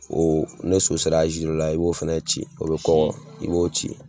Ɔ ne so sera azi dɔ la i b'o ci o be kɔgɔ